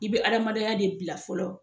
I be adamadenya de bila fɔlɔ